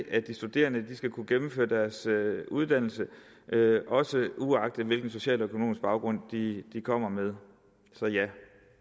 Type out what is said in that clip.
at de studerende skal kunne gennemføre deres uddannelse også uagtet hvilken social og økonomisk baggrund de kommer med så ja